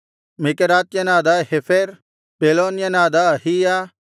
ಮೆಕೆರಾತ್ಯನಾದ ಹೇಫೆರ್ ಪೆಲೋನ್ಯನಾದ ಅಹೀಯ